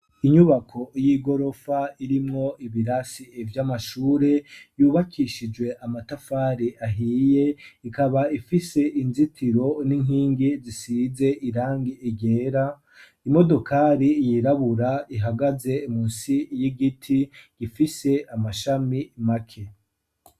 Inyubako y'igorofa irimwo ibirasi ivyo amashure yubakishijwe amatafari ahiye ikaba ifise inzitiro n'inkingi zisize irange igera imodokari yirabura ihagaze mu nsi y'igiti gifise amashami make.